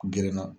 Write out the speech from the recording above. Gerenna